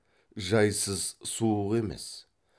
жайсыз суық емес